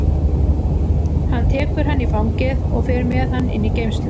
Hann tekur hann í fangið og fer með hann inn í geymslu.